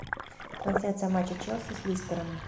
трансляция матча челси с лестером